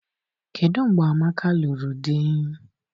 Kedụ mgbe Amaka lụrụ di?